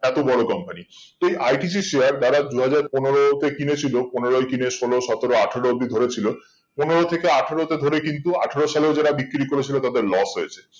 এত বড়ো company তো এই ITC share দাদা দুই হাজার পনেরোতে কিনে ছিল পনেরোই কিনে ষোলো সতেরো আঠেরো অবদি ধরে ছিল পনেরো থেকে আঠেরো তে ধরে কিন্তু আঠেরো সালে ও যারা বিক্রি করে ছিল তাদের loss হয়েছে